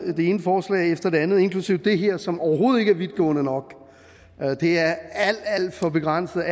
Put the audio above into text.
det ene forslag efter det andet inklusive det her som overhovedet ikke er vidtgående nok det er alt alt for begrænset